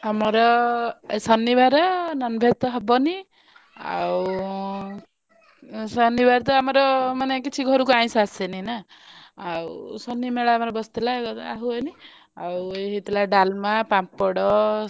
ଆମର ଆଜି ଶନିବାରେ non veg ତ ହବନି ଆଉ ଉଁ ଶନିବାରେ ତ ଆମର ମାନେ କିଛି ଘରକୁ ଆଇଂଷ ଆସେନି ନା ଆଉ ଶନିମେଳା ଆମର ବସିଥିଲା ହୁଏନି ଆଉ ଏଇ ହେଇଥିଲା ଡାଲମା ପାମ୍ପଡ।